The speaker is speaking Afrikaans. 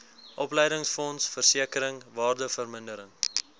opleidingsfonds versekering waardevermindering